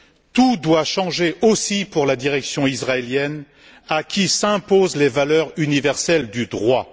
Tout doit changer aussi pour la direction israélienne à qui s'imposent les valeurs universelles du droit.